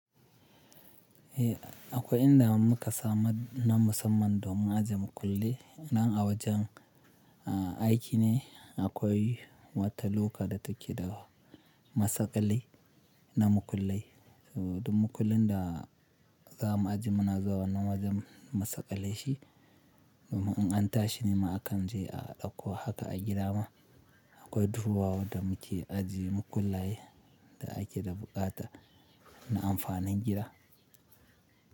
Eh akwai inda muka samu na musamman domin aje makulli nan a wajen aiki ne. Akwai wata lokada take da masaƙalai na mukullai. Duk mukullin da za mu ajiye muna zuwa Wan7na wajen masaƙale shi. Domin in an tashi nima akan je a ɗauko haka a gida ma. Akwai duhuwa wadda muke ajiye makullaye da ake da buƙata na amfanin gida.